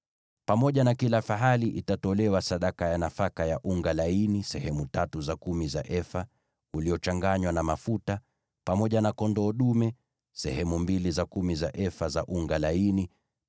Pamoja na kila fahali itatolewa sadaka ya nafaka ya unga laini sehemu tatu za kumi za efa uliochanganywa na mafuta; pamoja na kondoo dume, andaa sehemu mbili za kumi za efa za unga laini;